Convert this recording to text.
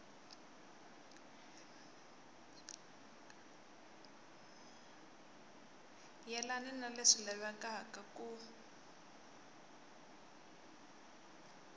yelani ni leswi lavekaka ku